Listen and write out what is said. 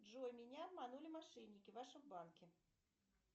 джой меня обманули мошенники в вашем банке